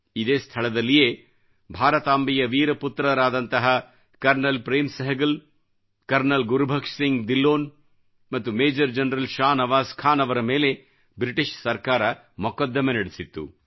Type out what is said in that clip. ಇದೇ ಸ್ಥಳದಲ್ಲಿಯೇ ಭಾರತಾಂಬೆಯ ವೀರಪುತ್ರರಾದಂತಹ ಕರ್ನಲ್ ಪ್ರೇಮ್ ಸೆಹೆಗಲ್ ಕರ್ನಲ್ ಗುರುಭಕ್ಷ ಸಿಂಗ್ ದಿಲ್ಲೋನ್ ಮತ್ತು ಮೇಜರ್ ಜನರಲ್ ಶಾ ನವಾಜ್ ಖಾನ್ ಅವರ ಮೇಲೆ ಬ್ರಿಟಿಷ್ ಸರ್ಕಾರ ಮೊಕದ್ದಮೆ ನಡೆಸಿತ್ತು